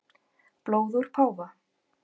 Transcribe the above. Blóð úr páfa